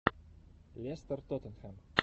лестер тоттенхэм